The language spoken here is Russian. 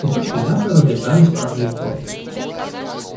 кусочки мяса разлетались в разные стороны